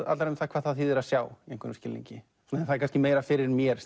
allar um hvað það þýðir að sjá í einhverjum skilningi það er kannski meira fyrir mér